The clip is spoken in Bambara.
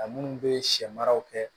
A minnu bɛ sɛ mara kɛ